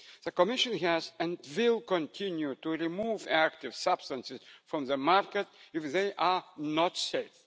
The Commission has removed and will continue to remove active substances from the market if they are not safe.